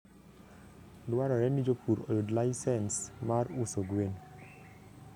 Dwarore ni jopur oyud laisens mar uso gwen.